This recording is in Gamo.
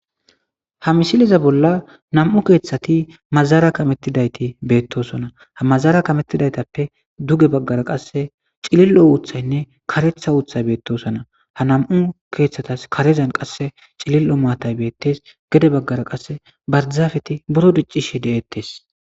ha misiliza bolla nam7u keeththati mazara kamettidayti beettosona ha mazara kamettidaytappe duge baggara qasse cilillo uuthaynne karetha uuthay beettosona ha nam7u keeththatas karezan qasse cilil7o maatay beettes gede baggara qasse barzaafeti buro diccishi de7ettes